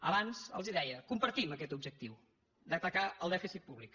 abans els deia compartim aquest objectiu d’atacar el dèficit públic